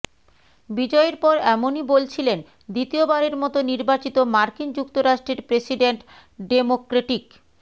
বিজয়ের পর এমনই বলছিলেন দ্বিতীয়বারের মতো নির্বাচিত মার্কিন যুক্তরাষ্ট্রের প্রেসিডেন্ট ডেমোক্রেটিক